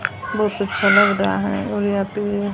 बहोत अच्छा लग रहा है और यहा पे ये--